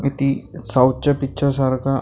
अ ती साऊथच्या पिच्चरसारखा --